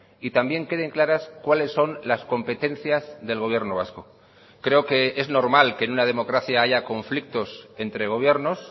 y también queden claras cuáles son las competencias del gobierno vasco creo que es normal que en una democracia haya conflictos entre gobiernos